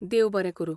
देव बरें करूं.